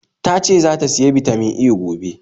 Tace zata siya Bitamin A gobe